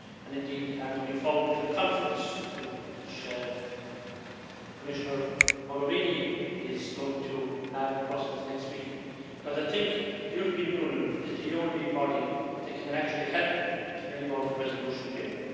Indeed, I am looking forward to the conference which Commissioner Mogherini is going to have in Brussels next week I think that the European Union is the only body that can actually help to bring about a resolution here.